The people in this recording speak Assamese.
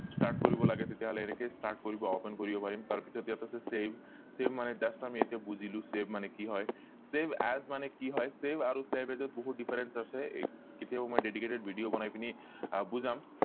start কৰিব লাগে তেতিয়া হলে এনেকে start কৰিব open কৰিব পাৰিম তাৰ পিছত ইয়াত আছে save save মানে just আমি ইয়াত বুজিলো save মানে কি হয় save as মানে কি হয় আৰু save আৰু save as ত বহুত difference আছে কেতিয়াবা মই dedicated video বনাই পিনি আহ বুজাম